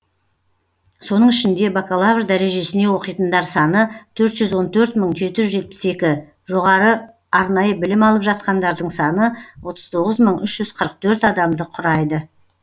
соның ішінде бакалавр дәрежесіне оқитындар саны төрт жүз он төрт мың жеті жүз жетпіс екі жоғары арнайы білім алып жатқандардың саны отыз тоғыз мың үш жүз қырық төрт адамды құрайды